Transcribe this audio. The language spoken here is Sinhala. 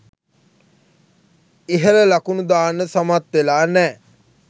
ඉහල ලකුණු දාන්න සමත් වෙලා නෑ.